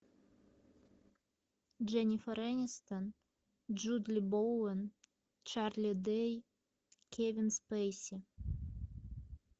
дженнифер энистон джули боуэн чарли дэй кевин спейси